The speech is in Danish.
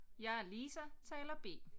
Jeg er Lisa taler B